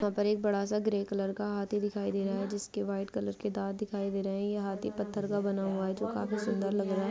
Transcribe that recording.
यहां पर एक बड़ा सा ग्रे कलर का हाथी दिखाई दे रहा है जिसके व्हाइट कलर के दांत दिखाई दे रहे हैं यह हाथी पत्थर का बना हुआ है जो काफी सुंदर लग रहा है।